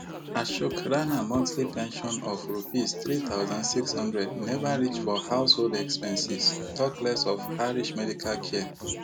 Ashok Rana monthly pension of Rupees three thousand, six hundred neva reach for household expenses tok less of Harish medical care